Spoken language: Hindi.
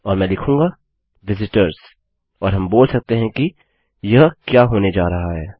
और मैं लिखूँगा विजिटर्स और हम बोल सकते हैं कि यह क्या होने जा रहा है